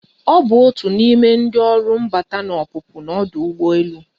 Ọ bụ otu n'ime ndị ọrụ mbata na ọpụpụ na ọdụ ụgbọelu.